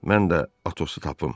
Mən də Atosu tapım.